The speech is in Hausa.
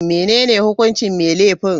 Menene hukuncin mai laifin?